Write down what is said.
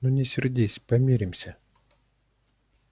ну не сердись помиримся